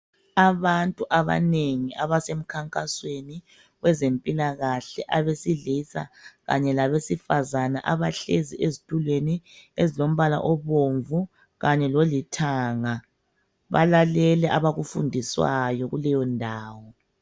Abantu abanengi abasemkhankasweni wezempilakahle abesilisa kanye labesifazana abahlezi ezitulweni ezilombala obumvu kanye lolithanga, balalele abakufundiswayo kuleyo ndawo.